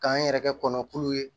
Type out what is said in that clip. K'an yɛrɛ kɛ kɔnɔ k'u ye